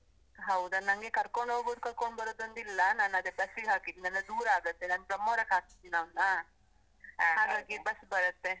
ಹೌದಾ? ನಂಗೆ ಕರ್ಕೊಂಡ್ ಹೋಗುದು, ಕರ್ಕೊಂಡ್ ಬರುದೊಂದಿಲ್ಲ, ನಾನ್ ಅದೇ ಬಸ್ಸಿಗ್ ಹಾಕಿದ್ನಲ್ಲ ದೂರ ಆಗತ್ತೆ, ನಾನ್ ಬ್ರಹ್ಮಾವರಕ್ಕೆ ಹಾಕಿದ್ದೇನಿ ಅವನ್ನ ಹಾಗಾಗಿ ಬಸ್ ಬರತ್ತೆ.